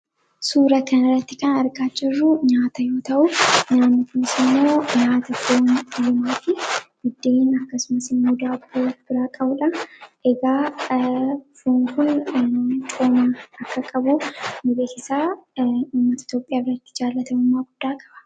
Kan asirratti argaa jirru nyaata fooniidha. Nyaanni foonii kun faayidaa madaalamuu hin dandeenye fi bakka bu’iinsa hin qabne qaba. Jireenya guyyaa guyyaa keessatti ta’ee, karoora yeroo dheeraa milkeessuu keessatti gahee olaanaa taphata. Faayidaan isaa kallattii tokko qofaan osoo hin taane, karaalee garaa garaatiin ibsamuu danda'a.